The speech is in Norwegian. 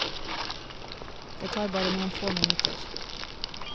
Det tar bare noen få minutter.